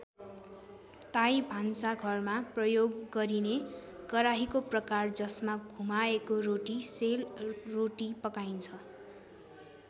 ताई भान्सा घरमा प्रयोग गरिने कराहीको प्रकार जसमा घुमाएको रोटी सेल रोटी पकाइन्छ।